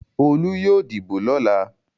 Olú yóò dìbò lọ́la.